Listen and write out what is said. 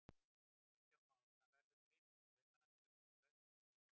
Kristján Már: Það verður gripið í taumana til að koma í veg fyrir slíkt?